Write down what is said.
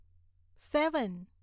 સેવન